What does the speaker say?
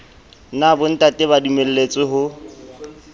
na bontate ba dumelletswe ho